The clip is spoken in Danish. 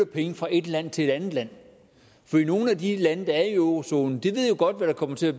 penge fra et land til et andet land for nogle af de lande der er i eurozonen ved jo godt hvad der kommer til at